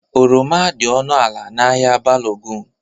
Oroma dị ọnụ ala n'ahịa Balogun.